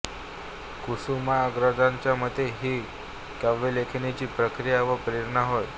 कुसुमाग्रजांच्या मते हीच काव्यलेखनाची प्रक्रिया व प्रेरणा होय